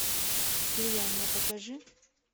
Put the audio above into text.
слияние покажи